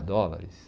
dólares.